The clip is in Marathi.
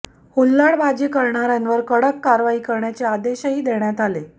हुल्लडबाजी करणाऱ्यांवर कडक कारवाई करण्याचे आदेशही देण्यात आले